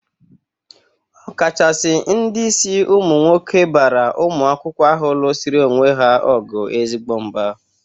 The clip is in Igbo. Ọkachasị ndị isi ụmụ nwoke bara ụmụ akwụkwọ ahụ lụzsịrị onwe ha ọgụ ezigbo mba.